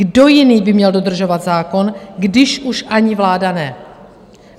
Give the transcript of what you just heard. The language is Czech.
Kdo jiný by měl dodržovat zákon, když už ani vláda ne?